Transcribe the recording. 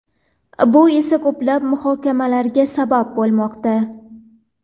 Bu esa ko‘plab muhokamalarga sabab bo‘lmoqda.